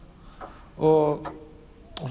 og